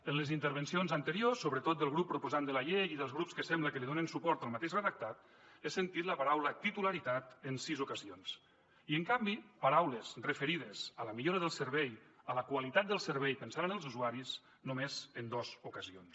en les intervencions anteriors sobretot del grup proposant de la llei i dels grups que sembla que li donen suport al mateix redactat he sentit la paraula titularitat en sis ocasions i en canvi paraules referides a la millora del servei a la qualitat del servei pensant en els usuaris només en dues ocasions